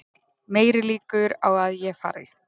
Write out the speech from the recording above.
Meiri líkur á að ég fari